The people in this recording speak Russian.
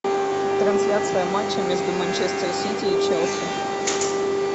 трансляция матча между манчестер сити и челси